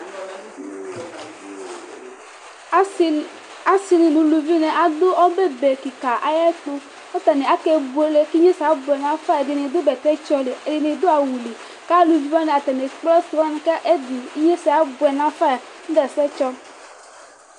Asɩ dʊ nʊ ʊlʊvɩnɩ adʊ ɔbɛ be kɩka aƴɛtu,, akebʊele kiɣnesɛ abʊɛ nafa, ɛdɩnɩ dʊ bɛtɛ tsɔ lɩ, ɛdɩnɩ dʊ awʊ lɩ kalʊvɩ wanɩ atanɩ ekple asɩ wanɩ kɩɣnesɛ abʊɛ nafa nʊdɛsɛ tsɔ